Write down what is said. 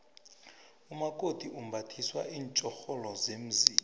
umakoti umbathiswa iinfjhoxholo zemzini